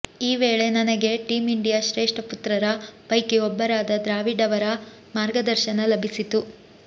ಈ ವೇಳೆ ನನಗೆ ಟೀಂ ಇಂಡಿಯಾ ಶ್ರೇಷ್ಠ ಪುತ್ರರ ಪೈಕಿ ಒಬ್ಬರಾದ ದ್ರಾವಿಡ್ ಅವರ ಮಾರ್ಗದರ್ಶನ ಲಭಿಸಿತು